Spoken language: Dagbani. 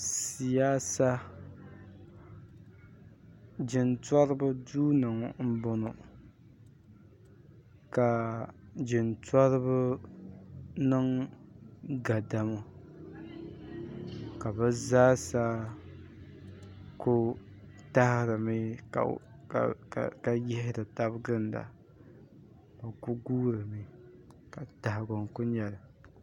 siyaasa jintɔriba duu m-bɔŋɔ ka jintɔriba niŋ gadama ka bɛ zaa sa ku tahirimi ka yihiri taba n-ginda ka bɛ kuli guurimi ka tahigu n kuli nyɛ li